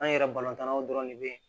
An yɛrɛ tannaw dɔrɔn de bɛ yen